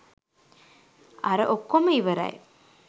අර ඔක්කොම ඉවරයි